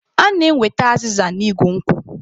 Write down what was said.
A na-enweta azịza n'igu nkwụ.